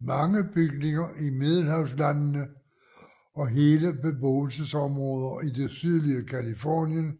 Mange bygninger i Middelhavslandene og hele beboelsesområder i det sydlige Californien